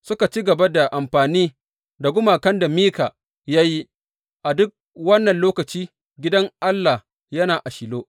Suka ci gaba da amfani da gumakan da Mika ya yi, a duk wannan lokacin gidan Allah yana a Shilo.